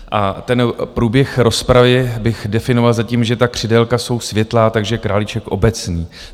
A ten průběh rozpravy bych definoval zatím, že ta křidélka jsou světlá, takže králíček obecný.